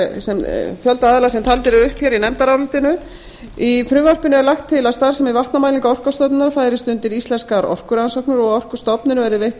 sem taldir eru upp hér í nefndarálitinu í frumvarpinu er lagt til að starfsemi vatnamælinga orkustofnunar færist undir íslenskar orkurannsóknir og að orkustofnun verði veittar